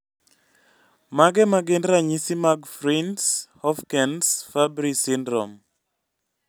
Mage magin ranyisi mag Fryns Hofkens Fabry syndrome?